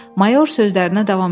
Mayor sözlərinə davam etdi.